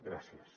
gràcies